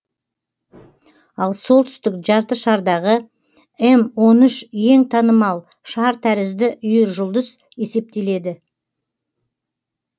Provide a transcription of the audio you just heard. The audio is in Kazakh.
ал солтүстік жартышардағы эм он үш ең танымал шар тәрізді үйіржұлдыз есептеледі